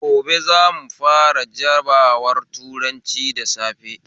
Gobe zamu fara jabawar turanci da safe